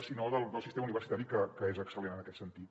sinó del sistema universitari que és excel·lent en aquest sentit